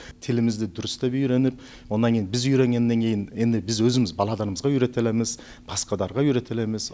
тілімізді дұрыстап үйреніп онан кейін біз үйренгеннен кейін енді біз өзіміз балаларымызға үйретіліміз басқаларға үйретіліміз